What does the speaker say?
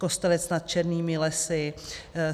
Kostelec nad Černými lesy;